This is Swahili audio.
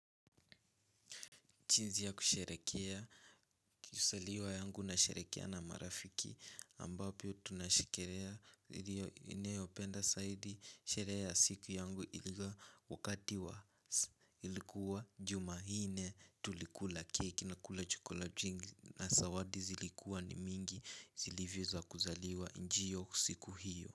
Jiinsi ya kusheherekea, ki saliwa yangu na sherehekea na marafiki ambapo tunashekerea niliyo penda zaidi sherehe ya siku yangu ilikua wakati wa ilikuwa jumanne tulikula cake na kula chakula kingi na zawadi zilikua ni mingi zilivyo za kuzaliwa njiyo siku hiyo.